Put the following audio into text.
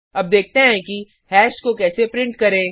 अब देखते हैं कि हैश को कैसे प्रिंट करें